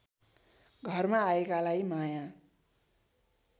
घरमा आएकालाई माया